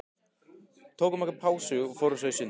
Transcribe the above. Tökum okkur pásu og förum í sund.